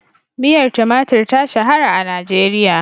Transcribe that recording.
Miyar tumatur ta shahara a Najeriya.